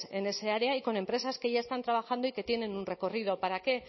en esa área y con empresas que ya están trabajando y que tienen un recorrido para qué